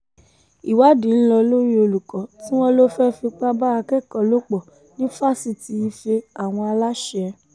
ìwádìí ń lọ lórí olùkọ́ tí wọ́n lọ fẹ́ẹ́ fipá bá akẹ́kọ̀ọ́ lò pọ̀ ní fásitì ife-àwọn aláṣẹ